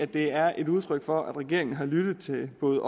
det er et udtryk for at regeringen har lyttet både